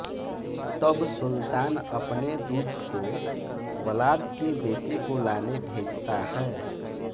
तब सुल्तान अपने दूत को व्लाद के बेटे को लाने भेजता है